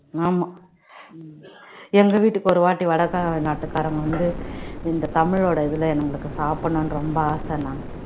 ஆமா எங்க வீட்டுக்கு ஒரு வாட்டி வடகார நாட்டுக்காரங்க வந்து இந்த தமிழோட இதுல நம்மளுக்கு சாப்பிடணும்ன்னு ரொம்ப ஆசைன்னாங்க